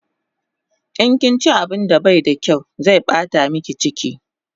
In kinchi abun da bai da kyaw zai bata miki chiki